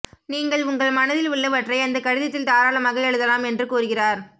நீங்கள் உங்கள் மனதில் உள்ளவற்றை அந்த கடிதத்தில் தாராளமாக எழுதலாம் என்று கூறுகிறார்